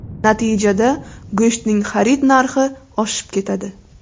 Natijada go‘shtning xarid narxi oshib ketadi.